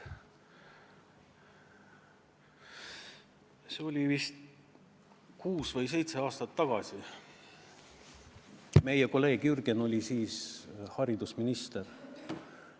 See oli vist kuus või seitse aastat tagasi, meie kolleeg Jürgen oli siis haridusminister.